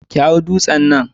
Ki hau dutsen nan